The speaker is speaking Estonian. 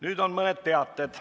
Nüüd on mõned teated.